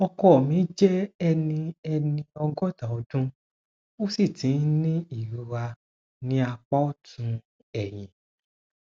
ọkọ mi jẹ ẹni ẹni ọgọta ọdún ó sì ti ń ní ìrora ní apá ọtún ẹyìn